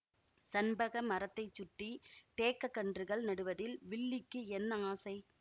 சண்பக மரத்தை சுற்றி தேக்கக் கன்றுகள் நடுவதில் வில்லிக்கு என்ன ஆசை